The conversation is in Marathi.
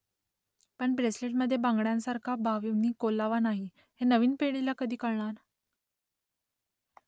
पण ब्रेसलेटमध्ये बांगड्यांसारखा भावनिक ओलावा नाही . हे नवीन पिढीला कधी कळणार ?